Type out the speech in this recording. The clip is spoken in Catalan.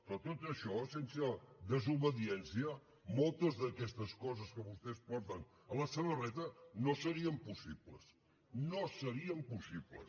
però tot això sense desobediència moltes d’aquestes coses que vostès porten a la samarreta no serien possibles no serien possibles